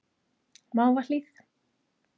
Mávahlíð